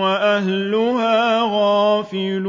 وَأَهْلُهَا غَافِلُونَ